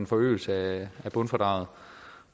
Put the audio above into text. forøgelse af bundfradraget